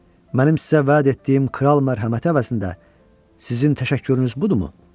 Mənim sizə vəd etdiyim kral mərhəməti əvəzində sizin təşəkkürünüz budurmu?